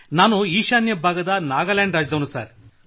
ನಾನು ಈಶಾನ್ಯ ಭಾಗದ ನಾಗಾಲ್ಯಾಂಡ್ ರಾಜ್ಯದವನಾಗಿದ್ದೇನೆ